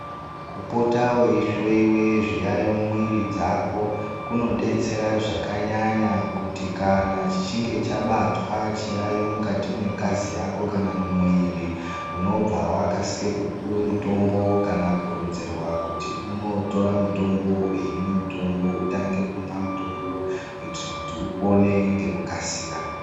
Kupota weihloiwe zviyayo mumwiri dzako kunodetsera zvakanyanya kuti kana chichinge chabatwa chiyayo mukati mwengazi yako kana mumwiri unobva wakasire kupuwe mutombo kana kuronzerwa kuti unotora mutombo hine mutombo utange kumwa mutombo kuite kuti upone ngekukasira.